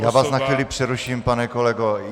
Já vás na chvíli přeruším, pane kolego.